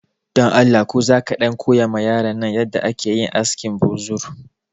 Dan Allah ko za ka ɗan koya ma yaran nan yanda ake yin askin buzur